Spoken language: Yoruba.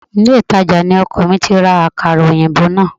Ilé-ìtàjà ni ọkọ mi ti ra Àkàrà òyìnbó náà